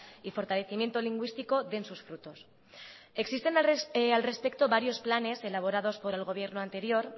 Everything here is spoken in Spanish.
y fortalecimiento lingüístico den sus frutos existen al respecto varios planes elaborados por el gobierno anterior